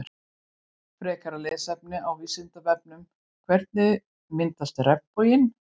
Frekara lesefni af Vísindavefnum Hvernig myndast regnboginn?